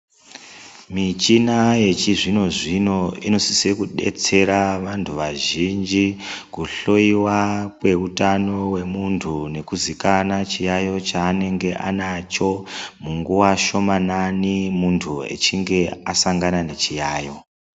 Michina yechizvino-zvino, inosise kudetsera vantu vazhinji, kuhloiwa kweutano wemuntu ,kuzikana chiyaiyo chaanenge anacho munguwa shomanani muntu echinge asangana nechiyaiyo.